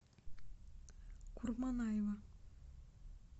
курманаева